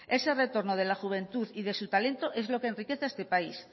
ese retorno de la juventud y de su talento es lo que enriquece a este país